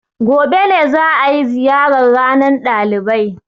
Gobe ne za a yi ziyarar ranar ɗalibai.